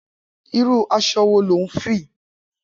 Irù àṣọ̀ wó ló n fi?